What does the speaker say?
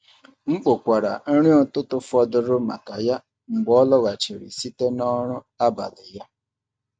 M kpokwara nri ụtụtụ fọdụrụ maka ya mgbe ọ lọghachiri site na ọrụ abalị ya.